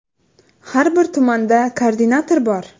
Har bir tumanda koordinator bor.